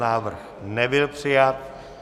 Návrh nebyl přijat.